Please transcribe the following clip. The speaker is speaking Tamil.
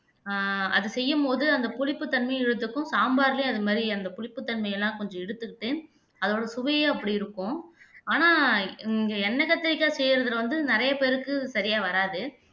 அஹ் அது செய்யும்போது அந்த புளிப்பு தன்மையை இழுத்துக்கும் சாம்பார்லையும் அது மாதிரி அந்த புளிப்பு தன்மை எல்லாம் கொஞ்சம் எடுத்துக்கிட்டு அதோட சுவையே அப்படி இருக்கும் ஆனா இங்க எண்ணெய் கத்திரிக்காய் செய்யறதுல வந்து நிறைய பேருக்கு சரியா வராது